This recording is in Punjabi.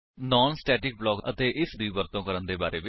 ਨਾਨ ਸਟੇਟਿਕ ਬਲਾਕ ਦੇ ਬਾਰੇ ਵਿੱਚ ਅਤੇ ਇਸ ਬਲਾਕ ਦੀ ਵਰਤੋ ਕਰਨ ਦੇ ਬਾਰੇ ਵਿੱਚ